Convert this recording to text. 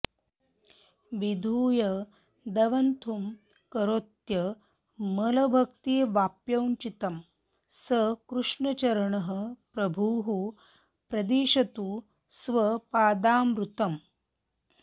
विधूय दवथुं करोत्यमलभक्तिवाप्यौचितीं स कृष्णचरणः प्रभुः प्रदिशतु स्वपादामृतम्